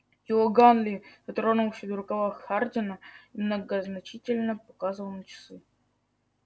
иоганн ли дотронулся до рукава хардина и многозначительно показывал на часы